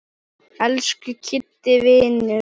Elsku Kiddi vinur.